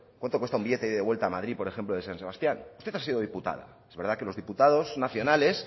cuánto cuesta un billete de ida y vuelta a madrid por ejemplo de san sebastián usted ha sido diputada es verdad que los diputados nacionales